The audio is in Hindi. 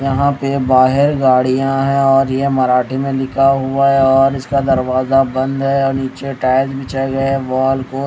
यहां पे बाहर गाड़ियां हैं और यह मराठी में लिखा हुआ है और इसका दरवाजा बंद है और नीचे टायर बिछाए गया है वॉल को--